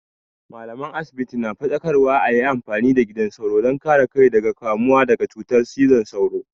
Mallaman asibiti na faɗakarwa a yi amfani da gidan sauro don kare kai daga kamuwa da cutar cizon sauro.